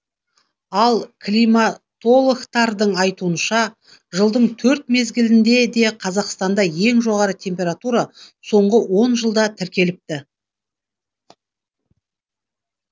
ал климатологтардың айтуынша жылдың төрт мезгілінде де қазақстанда ең жоғары температура соңғы он жылда тіркеліпті